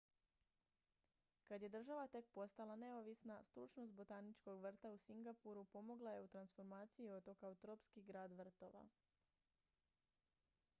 kad je država tek postala neovisna stručnost botaničkog vrta u singapuru pomogla je u transformaciji otoka u tropski grad vrtova